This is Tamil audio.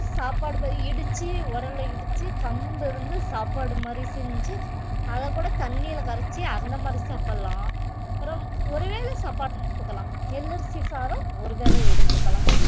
சாப்பாடு இடிச்சு உரல்ல இடிச்சு கம்பு வந்து சாப்பாடு மாதிரி செஞ்சு அதக்கூட தண்ணியில கரைச்சு அந்த மாதிரி சாப்பிடலாம் அப்புறம் ஒருவேளை சாப்பாடு எடுத்துக்கலாம் நெல்லு அரிசி சாதம் ஒரு வேளை எடுத்துக்கலாம்